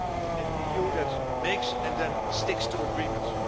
An EU that makes and then sticks to agreements.